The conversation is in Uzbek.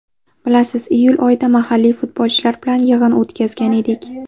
Bilasiz, iyul oyida mahalliy futbolchilar bilan yig‘in o‘tkazgan edik.